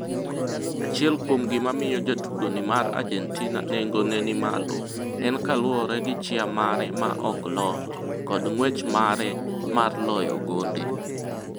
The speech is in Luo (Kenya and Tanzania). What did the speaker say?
Achiel kuom gima miyo jatugo ni mar Argentina nengo ne ni malo en kaluore gi chia mare ma ok lor, kod ng'wech mare mar loyo gonde.